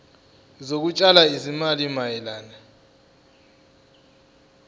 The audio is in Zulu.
zokutshala izimali mayelana